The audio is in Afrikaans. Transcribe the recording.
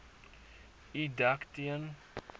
u dek teen